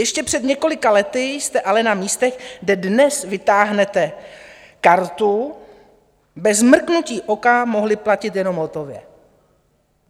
Ještě před několika lety jste ale na místech, kde dnes vytáhnete kartu bez mrknutí oka, mohli platit jenom hotově.